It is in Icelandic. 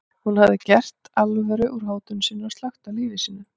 Hún hafði þá gert alvöru úr hótun sinni og slökkt á lífi sínu.